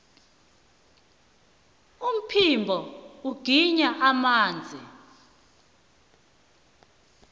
umphimbo ugwinya amanzi